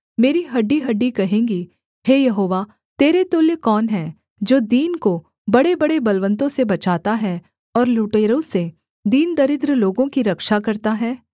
मेरी हड्डीहड्डी कहेंगी हे यहोवा तेरे तुल्य कौन है जो दीन को बड़ेबड़े बलवन्तों से बचाता है और लुटेरों से दीन दरिद्र लोगों की रक्षा करता है